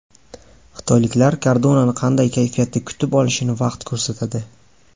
Xitoyliklar Kardonani qanday kayfiyatda kutib olishini vaqt ko‘rsatadi.